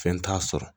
Fɛn t'a sɔrɔ